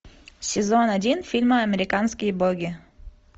сезон один фильма американские боги